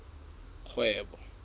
kgwebo